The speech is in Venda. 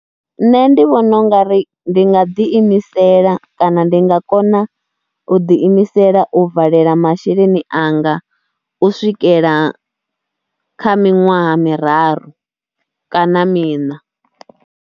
Nṋe ndi vhona u nga ri ndi nga ḓiimisela kana ndi nga kona u ḓiimisela u valela masheleni anga u swikela kha miṅwaha miraru kana miṋa.